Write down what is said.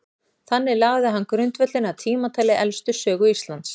Þannig lagði hann grundvöllinn að tímatali elstu sögu Íslands.